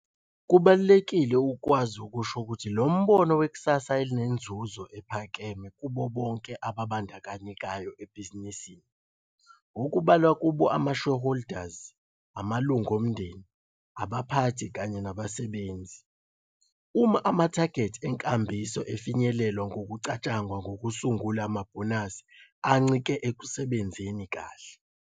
Kubaluleke ukukwazi ukusho lo mbono wekusasa elinenzuzo ephakeme kubo bonke ababandakanyekayo ebhizinisini, okubalwa kubo amashareholders, amalunga omndeni, abaphathi kanye nabasebenzi. Uma amathagethi enkambiso efinyelelwa kungacatshangwa ngokusungula amabhonasi ancike ekusebenzeni kahle.